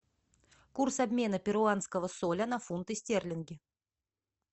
курс обмена перуанского соля на фунты стерлинги